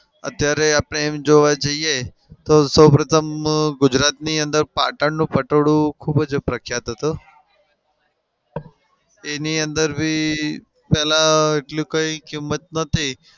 અત્યારે આપડે એમ જોવા જઈએ તો સૌ પ્રથમ ગુજરાતની અંદર પાટણનું પટોળું ખૂબ જ પ્રખ્યાત હતું. એની અંદર બી પેલા એટલું કઈ કીમત નતી.